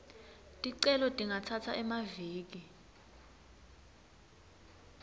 ticelo tingatsatsa emaviki